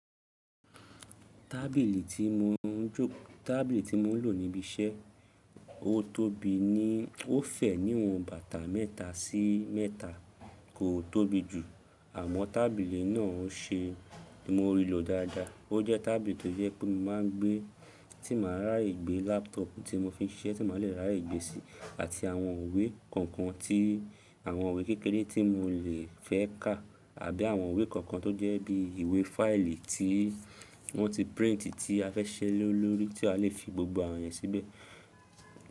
Tábìlì tí mo n jo, tábìlì tí mo n lò níbi iṣẹ́, ó tóbi ní, ó fẹ̀ níwọ̀n bàtà mẹ́ta sí mẹ́ta kò tóbi jù, àmọ́ tábìlì náà n ṣe, mo n rí lọ dáadáa. Ó jẹ́ tábìlì tó jẹ́ pé mo máa n gbé, tí màá ràye gbé laptop tí mo fi n ṣe tí màá le rà ìgbé sí, àti àwọn ìwé kankan tí àwọn ìwé kékeré tí mo le fẹ́ kà àbí àwọn ìwé kankan tó jẹ́ bí ìwé fáìlì tí wọ́n ti prínt tí a fẹ́ siṣe le lórí tí a lè fi gbogbo àwọn ènìyàn síbẹ̀